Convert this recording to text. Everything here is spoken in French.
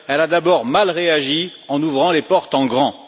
Elle a d'abord mal réagi en ouvrant les portes en grand.